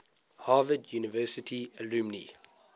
harvard university alumni